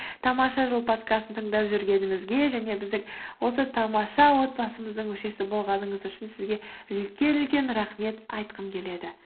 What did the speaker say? тамаша жыл подкастын тыңдап жүргеніңізге және біздің осы тамаша отбасымыздың мүшесі болғаныңыз үшін сізге үлкен үлкен рахмет айтқым келеді